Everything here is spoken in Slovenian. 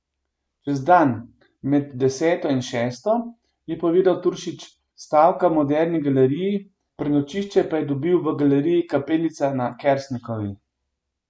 Čez dan, med deseto in šesto, je povedal Turšič, stavka v Moderni galeriji, prenočišče pa je dobil v galeriji Kapelica na Kersnikovi.